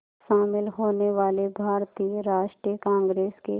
शामिल होने वाले भारतीय राष्ट्रीय कांग्रेस के